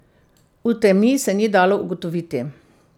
V temi se ni dalo ugotoviti.